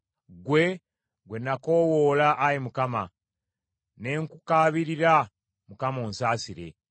Ggwe gwe nakoowoola, Ayi Mukama ; ne nkukaabirira Mukama, onsaasire.